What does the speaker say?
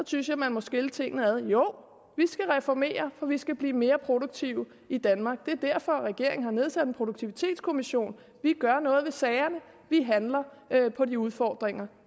synes jeg man må skille tingene ad jo vi skal reformere for vi skal blive mere produktive i danmark det er derfor regeringen har nedsat en produktivitetskommission vi gør noget ved sagerne vi handler på de udfordringer